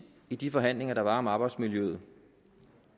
i de forhandlinger der var om arbejdsmiljøet